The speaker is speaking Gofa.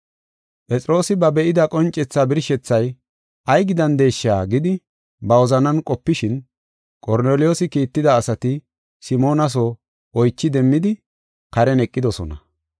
Phexroosi ba be7ida qoncethaa birshethay, “Ay gidandesha?” gidi ba wozanan qopishin, Qorneliyoosi kiitida asati Simoona soo oychi demmidi karen eqidosona.